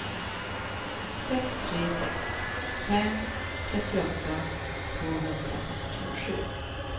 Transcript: sex tre sex fem trettioåtta tvåhundrafyrtiosju